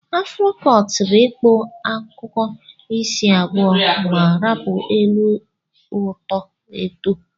Afro cọt bu ịkpụ akuku isi abụọ ma rapu elu oto eto.